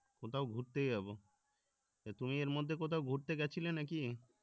কোথাও ঘুরতে যাবো। তুমি এর মধ্যে কোথাও ঘুরতে গেছিলে নাকি?